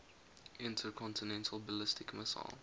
intercontinental ballistic missile